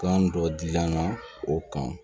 Kan dɔ dila an na o kan